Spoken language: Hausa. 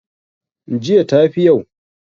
jiya ta fi yau?